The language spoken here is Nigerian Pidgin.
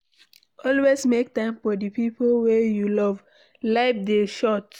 Always make time for di pipo wey you love, life dey short